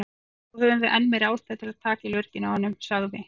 Þá höfum við enn meiri ástæðu til að taka í lurginn á honum, sagði